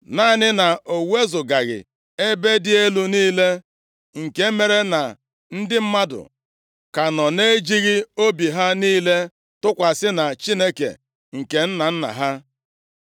Naanị na o wezugaghị ebe dị elu niile, nke mere na ndị mmadụ ka nọ na-ejighị obi ha niile tụkwasị na Chineke nke nna nna ha.